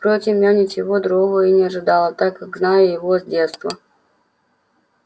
впрочем я ничего другого и не ожидала так как знаю его с детства